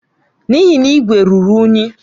N'ihi na igwe ruru unyi.